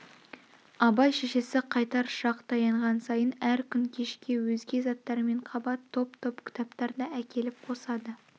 абай шешесі қайтар шақ таянған сайын әр күн кешке өзге заттармен қабат топ-топ кітаптар да әкеліп қосады